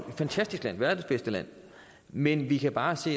fantastisk land verdens bedste land men vi kan bare se